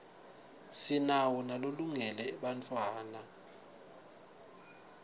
sinawo nalolungele bantfwatta